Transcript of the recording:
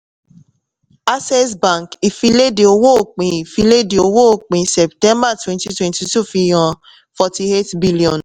access bank ìfìléde owó òpin ìfìléde owó òpin september twenty twenty two fihàn forty-eight billion